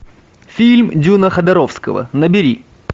фильм дюна ходоровского набери